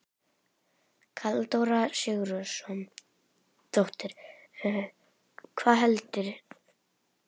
Halldóra Sigurðardóttir: Hvað heldurðu?